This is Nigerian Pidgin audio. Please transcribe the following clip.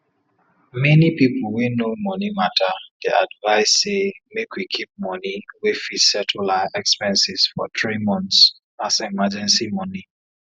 many people wey know money matter dey advice say make we keep money wey fit settle our expenses for three month as emergency money